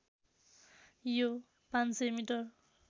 यो ५०० मिटर